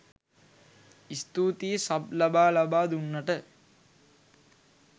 ස්තූතියි සබ් ලබා ලබා දුන්නට